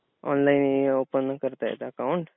ऑनलाईनही ओपन करता येतं अकाउंट.